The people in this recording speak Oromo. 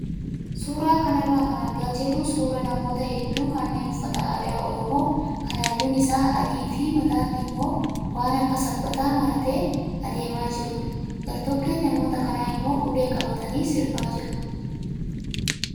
Suuraa kanarraa kan argaa jirru suuraa namoota hedduu kanneen uffata aadaa oromoo kan halluun isaa adii fi mataatti immoo waan akka sabbataa maratee adeemaa jirudha. Gartokkeen namoota kanaa immoo ulee qabatanii sirbaa jiru.